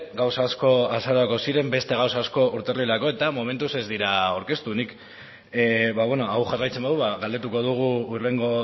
gauza asko azarorako ziren beste gauza asko urtarrilerako eta momentuz ez dira aurkeztu nik hau jarraitzen badu galdetuko dugu hurrengo